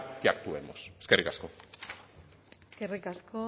que actuemos eskerrik asko eskerrik asko